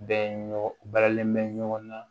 Bɛɛ ɲɔgɔn balen bɛ ɲɔgɔn na